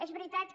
és veritat que